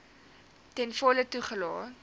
ten volle toegelaat